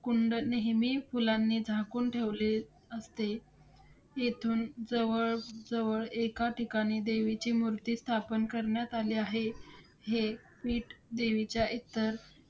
कुंड नेहमी फुलांनी झाकून ठेवले असते, तेथून जवळ जवळ एका ठिकाणी देवीची मूर्ती स्थापन करण्यात आली आहे. हे पीठ देवीच्या एकतर